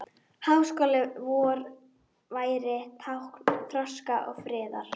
Háskóli vor væri tákn þroska og friðar.